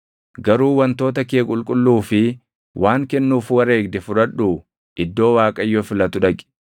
Garuu wantoota kee qulqulluu fi waan kennuuf wareegde fudhadhuu iddoo Waaqayyo filatu dhaqi.